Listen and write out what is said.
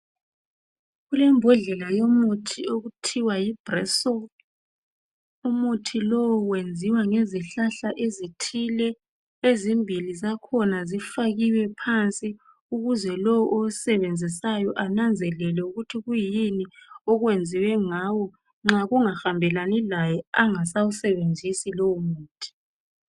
Kulebhodlela yomuthi okuthiwa yibroso lowomuthi wenziwa ngezihlahla ezithile ezimbili zakhona zifakiwe phansi ukuze lo awusebenzisayo ananzelele ukuthi kuyini okwenziwe ngawo nxa kungahambelani laye engasawusebenzisi lowo muthi